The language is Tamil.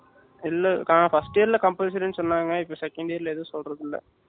இல்ல ஆ first year ல compulsory ன்னு சொன்னாங்க இப்போ second year ல எதும் சொல்றது இல்ல